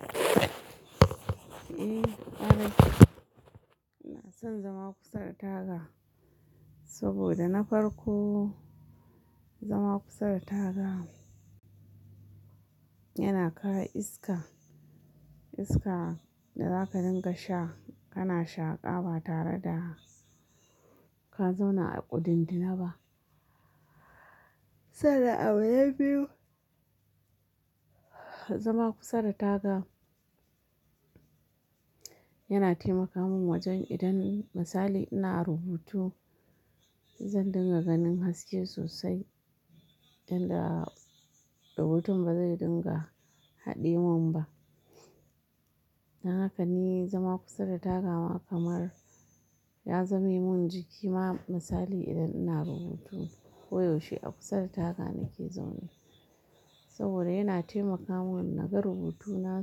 Eh ƙarai. Ina son zama kusa da taga, saboda na farko zama kusa da taga yana kawo iska. Iska da zaka dinga sha, kana shaƙa ba tare da ka zauna a ƙudindinaba. Sannan abu na biyu, zama kusa da taga yana taimaka mun wajen idan misali ina rubutu zan dinga ganin haske sosai, inda rubutun bazai dinga haɗe mun ba. Dan haka ni zama kusa da taga ma kamar ya zame mun jiki ma misali idan ina rubutu koyaushe a kusa da taga nake zaune. Saboda yana taimaka mun naga rubutuna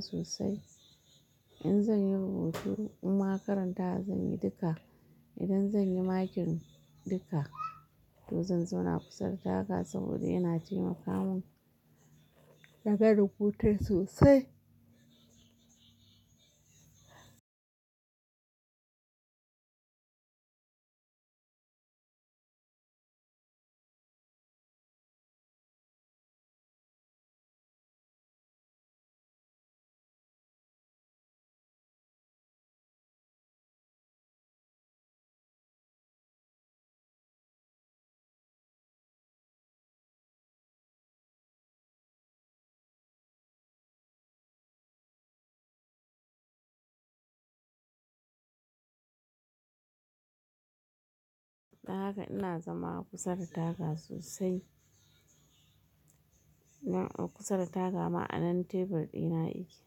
sosai. In zan yi rubutu imma karantawa zan yi duka, idan zan yi makin duka to zan zauna kusa da taga saboda yana taimaka mun naga rubutun sosai. Dan haka ina zama kusa da taga sosai. Nan kusa da taga ma anan tebur ɗina yake,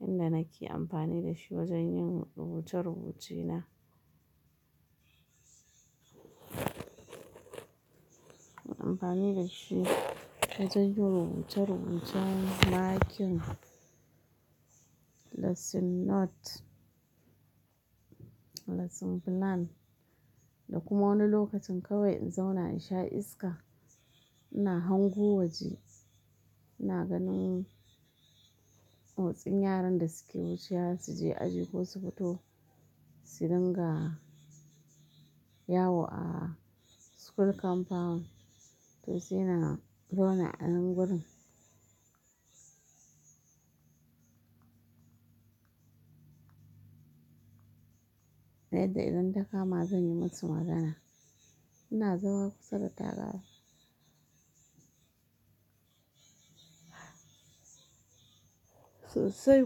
inda nake amfani da shi wajen yin rubuce-rubuce na. Muna amfani da shi wajen yin rubuce-rubucen makin lesson note, lesson plan da kuma wani lokacin kawai in zauna in sha iska. Ina hango waje, ina ganin motsin yaran da suke wucewa su je aji ko su fito, su dinga yawo a school compound to sai na zauna anan gurin. Yadda idon ta kama zan yi musu magana. Ina zama kusa da taga sosai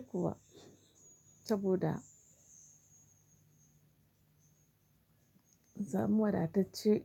kuwa saboda samu wadatacce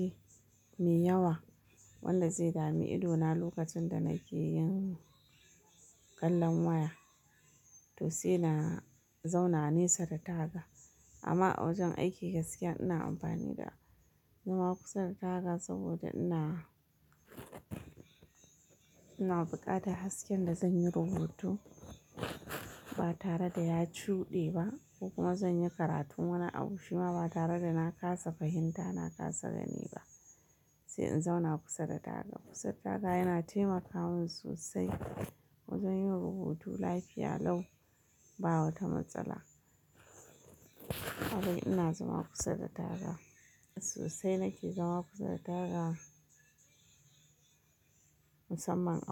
is-- maiyawa, wanda zai dami idona lokacin da nake yin kallon waya. To sai na zauna nesa da taga. Amma a wajen aiki gaskiya ina amfani da zama kusa da taga saboda ina, ina buƙatar hasken da zan yi rubutu ba tare da ya cuɗe ba, ko kuma zan yi karatun wani abu shi ma ba tare da na kasa fahimta, na kasa gani ba. Sai in zauna kusa da taga. Kusa da taga yana taimaka mun sosai wajen yin rubutu lafiya lau ba wata matsala. Kawai ina zama kusa da taga. Sosai nake zama kusa da taga, musamman a.